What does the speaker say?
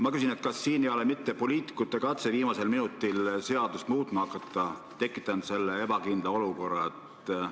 Kas see poliitikute katse viimasel minutil seadust muutma hakata pole mitte tekitanud ebakindla olukorra?